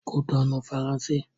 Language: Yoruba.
Kútọnu - Faransé